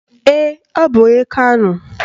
Ee, ọ bụ onye Kano